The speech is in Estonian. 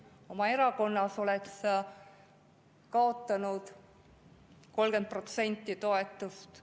Oma erakonnas oled sa kaotanud 30% toetust.